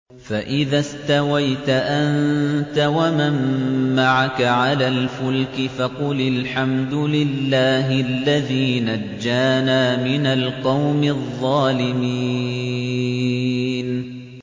فَإِذَا اسْتَوَيْتَ أَنتَ وَمَن مَّعَكَ عَلَى الْفُلْكِ فَقُلِ الْحَمْدُ لِلَّهِ الَّذِي نَجَّانَا مِنَ الْقَوْمِ الظَّالِمِينَ